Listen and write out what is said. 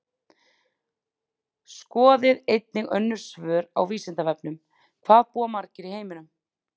Skoðið einnig önnur svör á Vísindavefnum: Hvað búa margir í heiminum?